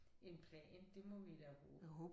En plan det må vi da håbe